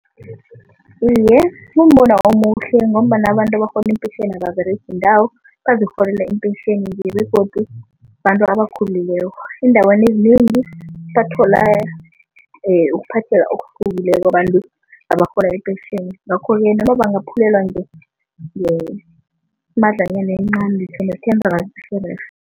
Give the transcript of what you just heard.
Iye, kumbono omuhle ngombana abantu abarhola impensheni ababeregi indawo bazokurhola impensheni nje begodu bantu abakhulileko. Eendaweni ezinengi bathola ukuphatheka obuhlukileko abantu abarhola ipentjheni ngakho-ke noma bangabaphulelwa ngemadlanyana encani, ngitjho ne-ten rand irerhe.